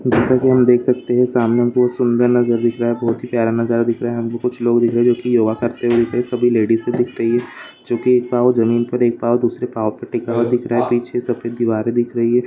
जैसा की हम देख सकते है सामने बहुत सुंदर नज़ारा दिख रहा है बहुत ही प्यारा नज़ारा दिख रहा है हमको कुछ लोग दिख रहे हैं जो की योगा करते हुए दिख रहे है सभी लेडीसे दिख रही है जो की एक पांव जमीन पर और एक पांव दूसरे पांव पर टीका हुआ दिख रहा है पीछे सबके दीवारें दिख रही है।